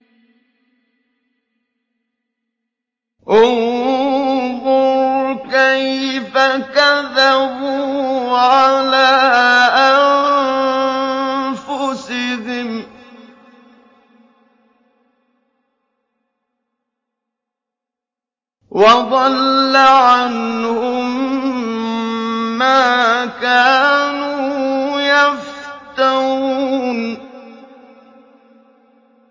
انظُرْ كَيْفَ كَذَبُوا عَلَىٰ أَنفُسِهِمْ ۚ وَضَلَّ عَنْهُم مَّا كَانُوا يَفْتَرُونَ